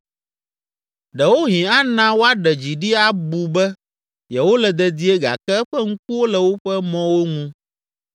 Ɖewohĩ ana woaɖe dzi ɖi abu be yewole dedie gake eƒe ŋkuwo le woƒe mɔwo ŋu.